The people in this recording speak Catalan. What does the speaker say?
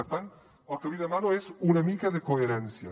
per tant el que li demano és una mica de coherència